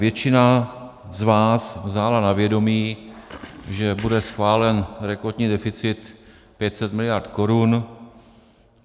Většina z vás vzala na vědomí, že bude schválen rekordní deficit 500 miliard korun.